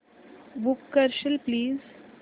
book करशील please